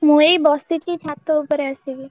ମୂଁ ଏଇ ବସିଛି ଛାତଉପରେ ଆସିକି।